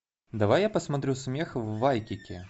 давай я посмотрю смех в вайкики